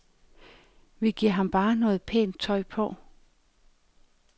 Vi giver ham bare noget pænt tøj på.